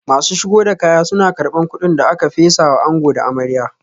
Masu shigo da kaya suna karban kudin da aka fesa wa ango da amarya